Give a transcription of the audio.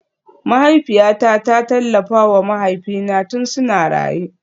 Mahaifiyata ta tallafa wa mahaifina tun suna raye